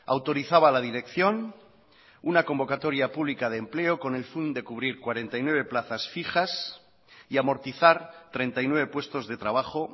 autorizaba a la dirección una convocatoria pública de empleo con el fin de cubrir cuarenta y nueve plazas fijas y amortizar treinta y nueve puestos de trabajo